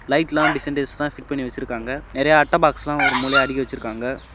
லைட்லா design டிசைனா fit பண்ணி வச்சிருக்காங்க நெறைய அட்ட பாக்ஸ்லா ஒரு மூளையா அடிக்கி வச்சிருக்காங்க.